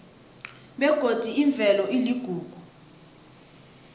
begodi imvelo iligugu lethu